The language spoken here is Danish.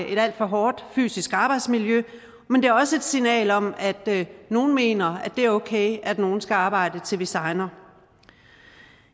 et alt for hårdt fysisk arbejdsmiljø men det er også et signal om at nogle mener at det er okay at nogle skal arbejde til de segner